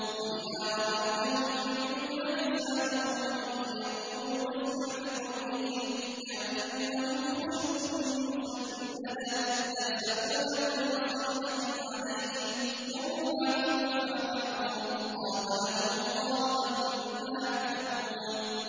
۞ وَإِذَا رَأَيْتَهُمْ تُعْجِبُكَ أَجْسَامُهُمْ ۖ وَإِن يَقُولُوا تَسْمَعْ لِقَوْلِهِمْ ۖ كَأَنَّهُمْ خُشُبٌ مُّسَنَّدَةٌ ۖ يَحْسَبُونَ كُلَّ صَيْحَةٍ عَلَيْهِمْ ۚ هُمُ الْعَدُوُّ فَاحْذَرْهُمْ ۚ قَاتَلَهُمُ اللَّهُ ۖ أَنَّىٰ يُؤْفَكُونَ